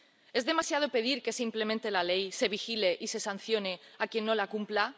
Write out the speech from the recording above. ¿Es demasiado pedir que se implemente la ley, se vigile y se sancione a quien no la cumpla?